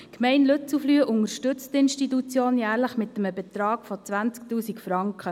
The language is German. Die Gemeinde Lützelflüh unterstützt die Institution jährlich mit einem Betrag von 20 000 Franken.